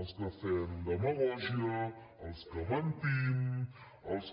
els que fem demagògia els que mentim els que